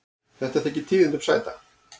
Þetta þykir tíðindum sæta.